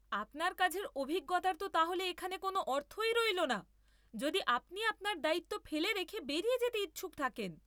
আপনার কাজের অভিজ্ঞতার তো তাহলে এখানে কোনও অর্থই রইল না, যদি আপনি আপনার দায়িত্ব ফেলে রেখে বেরিয়ে যেতে ইচ্ছুক থাকেন।